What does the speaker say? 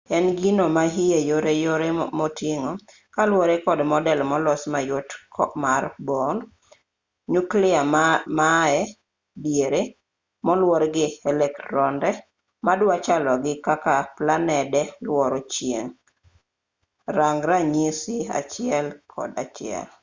en gino ma iye yoreyore moting'o kaluwore kod model molos mayot mar bohr nyuklia mae diere moluor gi elektronde madwa chalo gi kaka planede luoro chieng' rang ranyisi 1.1